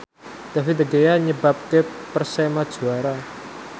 David De Gea nyebabke Persema juara